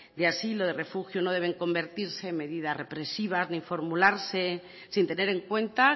de asilo de refugio no deben convertirse en medidas represivas ni formularse sin tener en cuenta